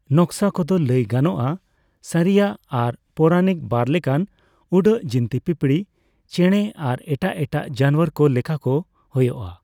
ᱱᱚᱠᱥᱟ ᱠᱚᱫᱚ ᱞᱟᱹᱭ ᱜᱟᱱᱚᱜᱼᱟ ᱥᱟᱨᱤᱭᱟᱜ ᱟᱨ ᱯᱳᱣᱨᱟᱱᱤᱠ ᱵᱟᱨ ᱞᱮᱠᱟᱱ ᱩᱰᱟᱹᱜ ᱡᱤᱱᱛᱤ ᱯᱤᱯᱤᱲᱤ, ᱪᱮᱬᱮ ᱟᱨ ᱮᱴᱟᱜ ᱮᱴᱟᱜ ᱡᱟᱱᱟᱣᱟᱨ ᱠᱚ ᱞᱮᱠᱟ ᱠᱚ ᱦᱳᱭᱳᱜᱼᱟ ᱾